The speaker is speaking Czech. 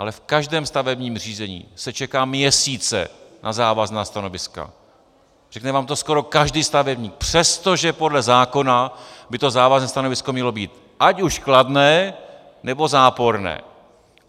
Ale v každém stavebním řízení se čeká měsíce na závazná stanoviska, řekne vám to skoro každý stavebník, přestože podle zákona by to závazné stanovisko mělo být ať už kladné, nebo záporné.